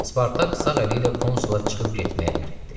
Spartak sağ əli ilə konsula çıxıb getməyə əmr etdi.